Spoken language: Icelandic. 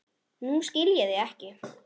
Nú skil ég þig ekki.